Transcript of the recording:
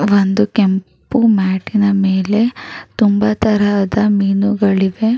ಒಂದು ಕೆಂಪು ಮ್ಯಾಟ್ ಇನ ಮೇಲೆ ತುಂಬಾ ತರಹದ ಮೀನುಗಳಿವೆ.